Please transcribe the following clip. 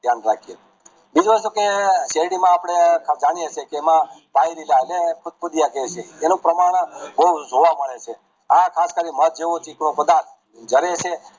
દયાન રાખીયે બીજું એ છેકે શેરડી માં આપણે જાણીએ છે કે એમાં ફુંધ ફુંધીયા કેયી છે એનું પ્રમાણ બૌજ જોવા મળે છે આ ખાસ કરી મધ જેવું ચીકણુ પધાર્થ